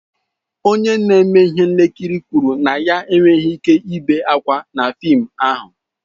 Onye na-eme ihe nkiri kwụrụ na ya enweghị ike ibe ákwà na fịịm ahụ.